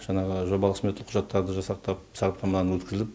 жаңағы жобалық сметалық құжаттарды жасақтап сараптамадан өткізіліп